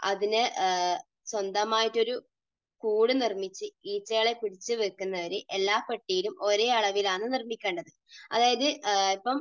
അതിന് സ്വന്തമായിട്ടൊരു കൂടു നിർമ്മിച്ച് ഈച്ചകളെ പിടിച്ചു വയ്ക്കുന്ന രീതി എല്ലാ പെട്ടികളിലും ഒരേ അളവിലാണ് നിർമ്മിക്കേണ്ടത്. അതായത് ഇപ്പോൾ